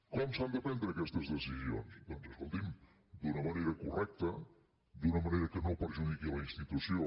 com s’han de prendre aquestes decisions doncs escolti’m d’una manera correcta d’una manera que no perjudiqui la institució